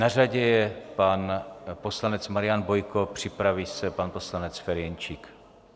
Na řadě je pan poslanec Marian Bojko, připraví se pan poslanec Ferjenčík.